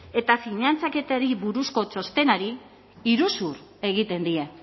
eta finantzaketari buruzko txostenari iruzur egiten die